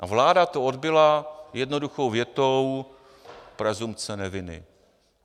A vláda to odbyla jednoduchou větou: Presumpce neviny.